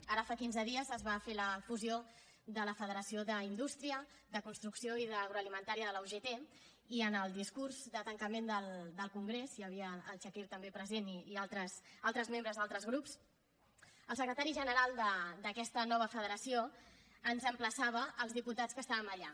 ara fa quinze dies es va fer la fusió de la federació d’indústria de construcció i d’agroalimentària de la ugt i en el discurs de tancament del congrés hi havia el chakir també present i altres membres d’altres grups el secretari general d’aquesta nova federació ens emplaçava els diputats que estàvem allà